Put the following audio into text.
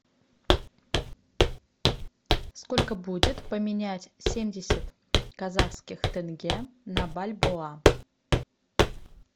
сколько будет поменять семьдесят казахских тенге на бальбоа